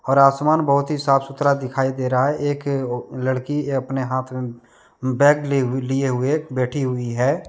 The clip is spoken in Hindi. और आसमान बहुत ही साफ-सुथरा दिखाई दे रहा है एक अ ओ लड़की अपने हाथ में बैग ले लिए हुए बैठी हुई है।